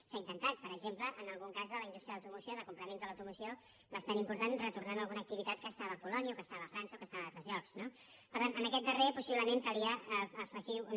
s’ha intentat per exemple en algun cas de la indústria de l’automoció de complements de l’automoció bastant important i ha retornat a alguna activitat que estava a polònia o que estava a frança o que estava a altres llocs no per tant en aquest darrer possiblement calia afegir un